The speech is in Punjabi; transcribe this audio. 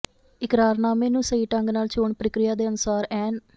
ਇਕਰਾਰਨਾਮੇ ਨੂੰ ਸਹੀ ਢੰਗ ਨਾਲ ਚੋਣ ਪ੍ਰਕਿਰਿਆ ਦੇ ਅਨੁਸਾਰ ਐਨ